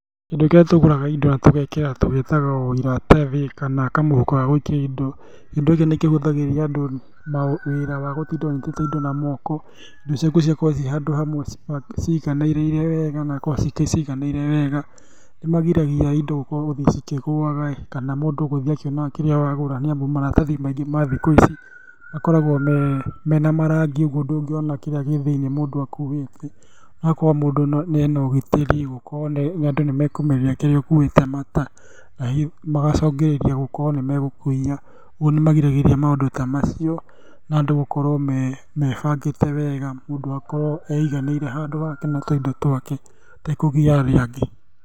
Kĩndũ kĩrĩa tũgũraga indo na tĩgekĩra tũgĩtaga o iratathi kana kamũhuko gagũikia indo. Kĩndũ gĩkĩ nĩ kĩhũthagĩria andũ wĩra wa gũtinda ũnyitĩte indo na moko, indo ciaku igakorwo ciĩ handũ hamwe, ũciganĩrĩire wega na igakorwo ciganĩire wega, nĩmagiragia indo gũthiĩ cikĩgũaga kana mũndũ gũthiĩ akĩonaga kĩrĩa wagũra nĩamu maratathi maingĩ ma thikũ ici makoragwo mena m,arangi ũguo ndũngĩona kĩrĩa gĩthĩinĩ mũndũ akuĩte, ũgakora mũndũ ena ũgitĩri gũkorwo andũ nĩmekũmenya kĩrĩa ũkuĩte magacũngĩrĩria gũkorwo nĩmegũkũiya, ũguo nĩmagiragĩrĩria maũndũ ta macio na andũ gũkorwo mebangĩte wega, mũndũ akorwo aiganĩire handũ hake na tũindo twake atekũgia arĩa angĩ.